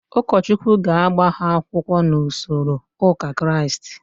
Ụkọchukwu ga-agba ha akwụkwọ n'usoro ụka Kraịst.